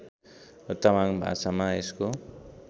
तामाङ भाषामा यसको